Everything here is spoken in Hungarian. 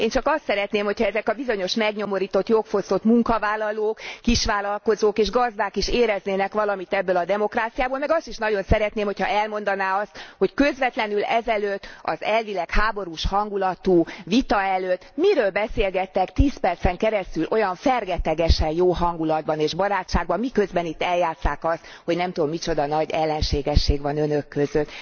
Én csak azt szeretném, hogy ha ezek a bizonyos megnyomorított, jogfosztott munkavállalók, kisvállalkozók és gazdák is éreznének valamit ebből a demokráciából, meg azt is nagyon szeretném, ha elmondaná azt, hogy közvetlenül ez előtt az elvileg háborús hangulatú vita előtt miről beszélgettek 10 percen keresztül olyan fergetegesen jó hangulatban és barátságban, miközben itt eljátsszák azt, hogy nem tudom micsoda nagy ellenségesség van Önök között.